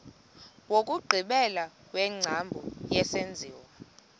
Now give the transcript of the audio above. wokugqibela wengcambu yesenziwa